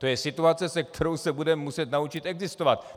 To je situace, se kterou se budeme muset naučit existovat.